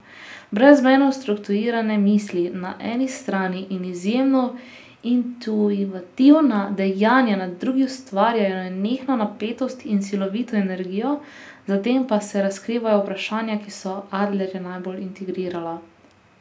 Brezmejno strukturirane misli na eni strani in izjemno intuitivna dejanja na drugi ustvarjajo nenehno napetost in silovito energijo, za tem pa se razkrivajo vprašanja, ki so Adlerja najbolj intrigirala.